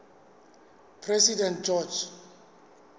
president george